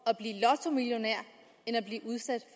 at blive lottomillionær end at blive udsat